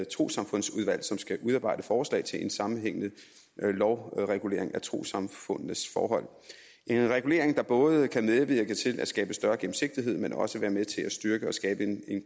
trossamfundsudvalg som skal udarbejde forslag til en sammenhængende lovregulering af trossamfundenes forhold en regulering der både kan medvirke til at skabe større gennemsigtighed men også være med til at styrke og skabe en